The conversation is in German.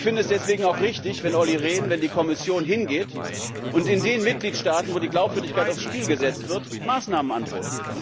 Ich finde es deswegen auch richtig, wenn Olli Rehn, wenn die Kommission hingeht, und in den Mitgliedstaaten, wo die Glaubwürdigkeit aufs Spiel gesetzt wird, Maßnahmen androht.